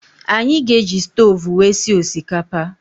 Anyị ga-eji stoovú wee sie osikapa.